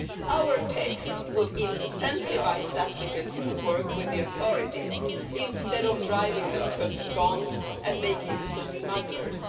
Our text would incentivise applicants to work with the authorities instead of driving them to abscond and make use of smugglers.